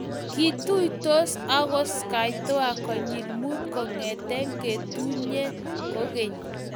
Kituitosi ago ski tour konyil Mut kongete ketunye kogeny